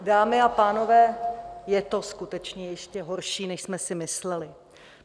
Dámy a pánové, je to skutečně ještě horší, než jsme si mysleli.